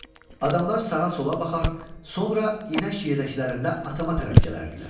Adamlar sağa-sola baxar, sonra inək yədəklərində atama tərəf gələrdilər.